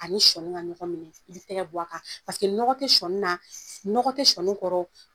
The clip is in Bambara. Ani sɔni ka ɲɔgɔn minɛ i b'i tɛgɛ b'a kan paseke nɔgɔ tɛ sɔni na nɔgɔ tɛ sɔni kɔrɔ